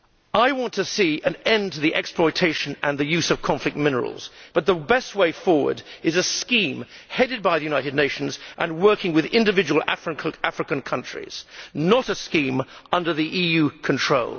I want to see an end to the exploitation and the use of conflict minerals, but the best way forward is a scheme, headed by the United Nations and working with individual African countries, not a scheme under EU control.